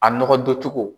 A nɔgɔ don cogo